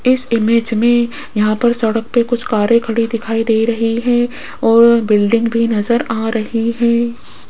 इस इमेज में यहां पर सड़क पर कुछ कारे खड़ी दिखाई दे रही है और बिल्डिंग भी नजर आ रही है।